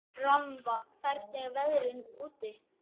Rannva, hvernig er veðrið úti?